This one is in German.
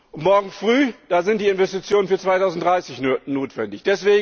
Und morgen früh sind die Investitionen für 2030 notwendig.